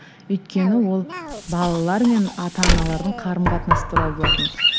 өйткені ол балалар мен ата аналардың қарым қатынасы туралы болатын